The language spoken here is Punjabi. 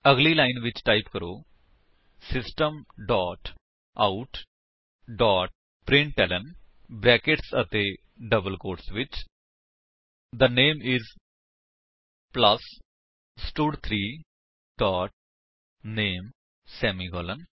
ਅਗਲੀ ਲਾਇਨ ਟਾਈਪ ਕਰੋ system dot out dot println brackets ਅਤੇ ਡਬਲ ਕੋਟਸ ਵਿੱਚ ਥੇ ਨਾਮੇ ਆਈਐਸ ਪਲੱਸ ਸਟਡ3 ਡੋਟ ਨਾਮੇ ਸੇਮੀਕਾਲਨ